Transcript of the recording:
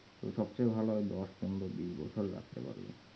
তো সব থেকে ভালো হয় দোষ পনেরো বিশ বছর রাখতে পারবেন